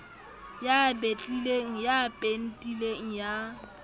ya betlileng ya pentileng ya